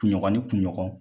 Kun ɲɔgɔn ni kun ɲɔgɔn.